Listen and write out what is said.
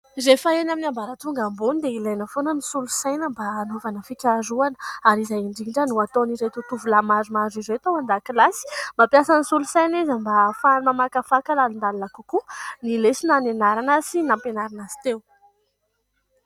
Rehefa eny amin'ny ambatonga ambony dia ilaina foana ny solosaina mba hanaovana fikaharohana ary izay indrindra no ataon'ireto tovolahy maromaro ireto ao an-dakilasy. Mampiasa ny solosaina izy mba ahafahany mamakafaka lalindalina kokoa ny lesona nianarana sy nampianarina azy teo.